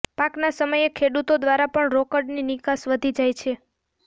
પાકના સમયે ખેડૂતો દ્વારા પણ રોકડની નિકાસ વધી જાય છે